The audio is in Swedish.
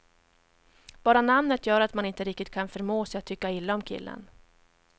Bara namnet gör att man inte riktigt kan förmå sig att tycka illa om killen.